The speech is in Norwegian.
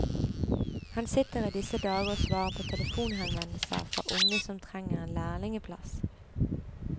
Han sitter i disse dager og svarer på telefonhenvendelser fra unge som trenger en lærlingeplass.